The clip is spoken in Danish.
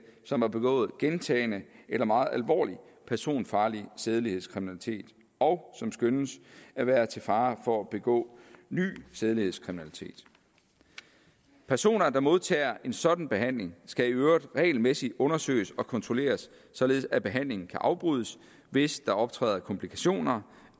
som har begået gentagen eller meget alvorlig personfarlig sædelighedskriminalitet og som skønnes at være til fare for at begå ny sædelighedskriminalitet personer der modtager en sådan behandling skal i øvrigt regelmæssigt undersøges og kontrolleres således at behandlingen kan afbrydes hvis der optræder komplikationer